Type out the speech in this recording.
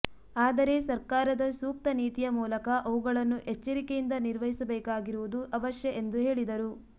ಆದರೆ ಸರ್ಕಾರದ ಸೂಕ್ತ ನೀತಿಯ ಮೂಲಕ ಅವುಗಳನ್ನು ಎಚ್ಚರಿಕೆಯಿಂದ ನಿರ್ವಹಿಸಬೇಕಾಗಿರುವುದು ಅವಶ್ಯ ಎಂದು ಹೇಳಿದರು